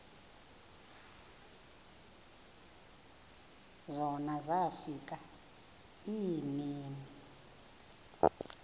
zona zafika iimini